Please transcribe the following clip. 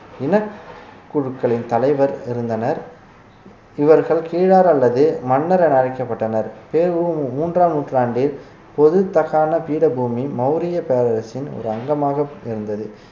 இனக்குழுக்களின் தலைவர் இருந்தனர் இவர்கள் கீழார் அல்லது மன்னர் என அழைக்கப்பட்டனர் பெ உ மு மூன்றாம் நூற்றாண்டில் பொது தக்காண பீடபூமி மௌரிய பேரரசின் ஒரு அங்கமாக இருந்தது